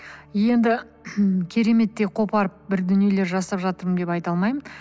енді кереметтей қопарып бір дүниелер жасап жатырмын деп айта алмаймын